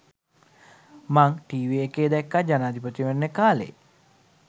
මං ටීවි එකේ දැක්කා ජනාධිපතිවරණය කාලේ.